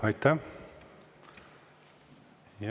Aitäh!